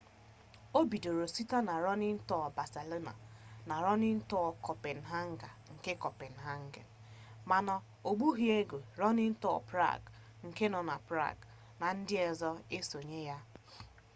o bidoro site na running tours barcelona na running copenhagen nke copenhagen mana o gbughi oge running tours prague nke nọ na prague na ndị ọzọ esonye ya